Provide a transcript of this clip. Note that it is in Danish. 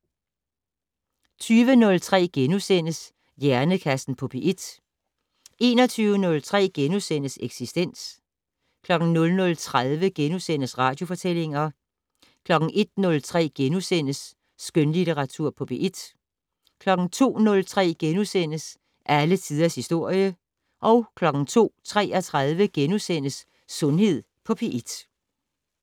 20:03: Hjernekassen på P1 * 21:03: Eksistens * 00:30: Radiofortællinger * 01:03: Skønlitteratur på P1 * 02:03: Alle tiders historie * 02:33: Sundhed på P1 *